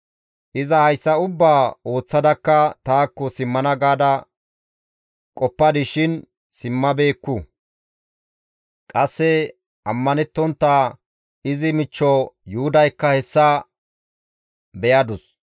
Iza hayssa ubbaa ooththadakka taakko simmana gaada qoppadis shin simmabeekku. Qasse ammanettontta izi michcho Yuhudaykka hessa beyadus.